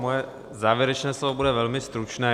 Moje závěrečné slovo bude velmi stručné.